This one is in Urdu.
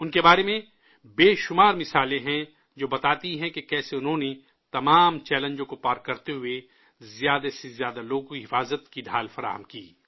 ان کے بارے میں بے شمار مثالیں ہیں، جو بتاتی ہیں کہ کیسے انہوں نے تمام چیلنجز کو پار کرتے ہوئے زیادہ سے زیادہ لوگوں کو سیکورٹی کور فراہم کیا